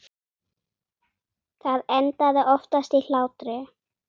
Það endaði oftast í hlátri.